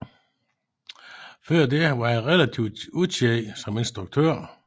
Før dette var han relativt ukendt som instruktør